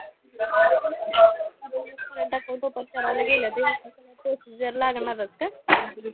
current account open करायला गेलं तेव्हा पण procedure लागणारचं का?